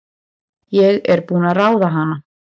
Ég er búin að ráða hana!